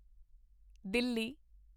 Delhi